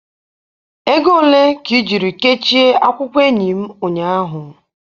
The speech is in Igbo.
Ego ole ka i jiri kechie akwụkwọ enyi m ụnyahụ?